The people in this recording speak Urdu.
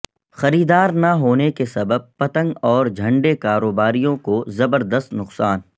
خریدار نہ ہونے کے سبب پتنگ اور جھنڈے کاروباریوں کو زبردست نقصان